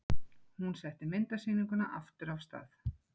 Hún setti myndasýninguna aftur af stað.